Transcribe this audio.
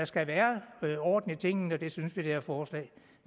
skal være orden i tingene og det synes vi det her forslag